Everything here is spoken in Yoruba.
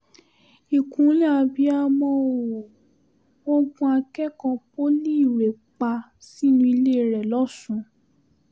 ìkúnlẹ̀ abiyamọ ó wọ́n gun akẹ́kọ̀ọ́ poli irèé pa sínú ilé rẹ̀ lọ́sùn